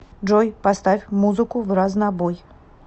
джой поставь музыку вразнобой